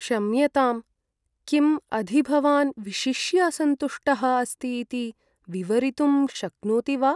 क्षम्यताम्। किम् अधि भवान् विशिष्य असन्तुष्टः अस्ति इति विवरीतुं शक्नोति वा?